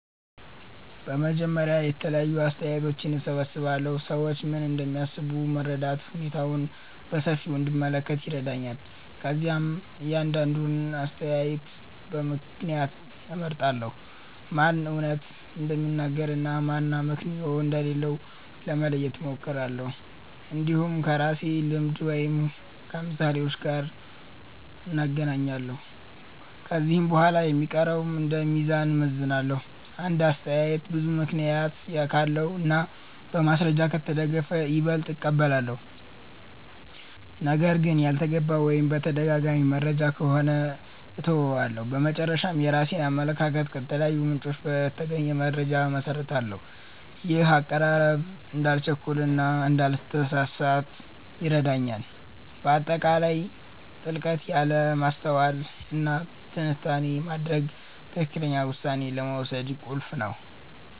በመጀመሪያ የተለያዩ አስተያየቶችን እሰብስባለሁ። ሰዎች ምን እንደሚያስቡ መረዳት ሁኔታውን በሰፊው እንድመለከት ይረዳኛል። ከዚያም እያንዳንዱን አስተያየት በምክንያት እመርምራለሁ፤ ማን እውነት እንደሚናገር እና ማን አመክንዮ እንደሌለው ለመለየት እሞክራለሁ። እንዲሁም ከራሴ ልምድ ወይም ከምሳሌዎች ጋር እናገናኛለሁ። ከዚህ በኋላ የሚቀረውን እንደ ሚዛን እመዝናለሁ። አንድ አስተያየት ብዙ ምክንያት ካለው እና በማስረጃ ከተደገፈ ይበልጥ እቀበላለሁ። ነገር ግን ያልተገባ ወይም የተደጋጋሚ መረጃ ከሆነ እተወዋለሁ። በመጨረሻ፣ የራሴን አመለካከት ከተለያዩ ምንጮች በተገኘ መረጃ እመሰርታለሁ። ይህ አቀራረብ እንዳልቸኩል እና እንዳልተሳሳት ይረዳኛል። በአጠቃላይ ጥልቀት ያለ ማስተዋል እና ትንታኔ ማድረግ ትክክለኛ ውሳኔ ለመውሰድ ቁልፍ ነው